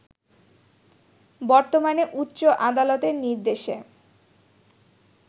বর্তমানে উচ্চ আদালতের নির্দেশে